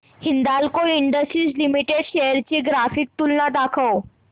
Hindalco industries limited shares ची graphical तुलना दाखव